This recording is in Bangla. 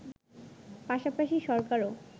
পাশাপাশি সরকারও